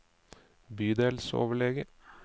bydelsoverlege